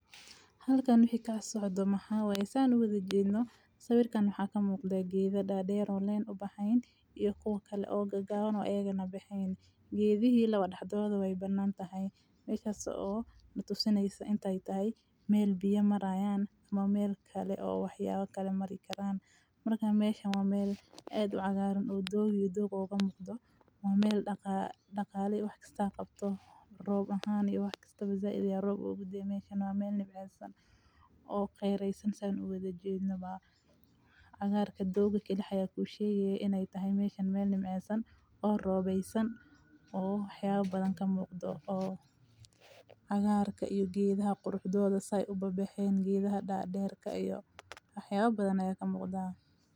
Halkaan waxaa ka socdo ma ha way isaan uga daajiino sawirkan waxaa ka muuqda giida dhaadheer oo leen ah bahayn iyo koo kale oo gagaan oo eegana bixinti, giidi hilo wadhadhooda way banan tahay meeshii soo la tusinaysa intay tahay meel biyo marayaan maameel kale oo waxyaabo kale mari karaan markaa meesha maameel aad cagaaran uu doogu iyo dooga ugu muddo maameel dhaqaalaha wakhti kasta qabto roob ahaan iyo wakhtigii tusaale ee roob u gudbi meeshan maameel nimcinsan oo khayreysan usan uga daajinaaba. Agaar kadoo dogoshay ku sheege inay tahay meeshan meel nimcinsan oo roobaysan oo xawa badan ka muuqdo oo agaarka iyo giidha qurxooda sae uba bixin giidha dhaadheerka iyo axawo badan ayee ka muuqda.